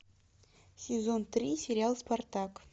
сезон три сериал спартак